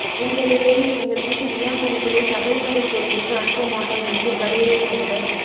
இந்த நிலையில் எங்கள் வீட்டு இளம் பெண்களை சபரிமலை கோவிலுக்கு அனுப்ப மாட்டோம் என்று கரூரை சேர்ந்த